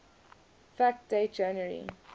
fact date january